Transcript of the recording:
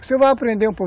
Você vai aprender um